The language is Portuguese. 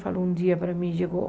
Falou, um dia para mim chegou...